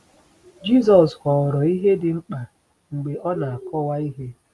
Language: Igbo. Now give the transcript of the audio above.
Jisọs họrọ ihe dị mkpa mgbe o na-akọwa ihe.